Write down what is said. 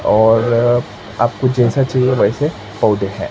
और आपको जैसा चाहिए वैसे पौधे हैं।